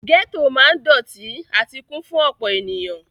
Gẹ́tò ma ń dọ̀tí àti kún fún ọ̀pọ̀ ènìyàn.